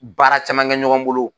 Baara caman gɛ ɲɔgɔn bolo